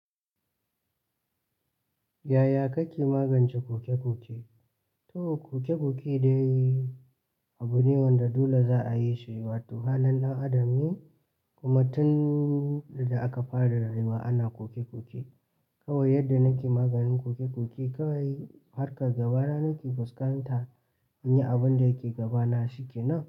Yaya kake magance ƙoke-ƙoke? To ooke-koke dai abu ne wanda dole za a yi shi, wato halin ɗan adam ne kuma tun da aka fara rayuwa ana koke-koke. Kawai yadda nake maganin koke-koke kawai harkar gaba da nake fuskanta in yi abin da yake gabana shikenan.